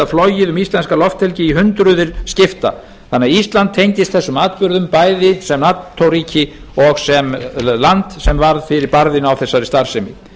flogið um íslenska lofthelgi í hundruð skipta þannig að ísland tengist þessum aðgerðum bæði sem nato ekki og sem land sem varð fyrir barðinu á þessari starfsemi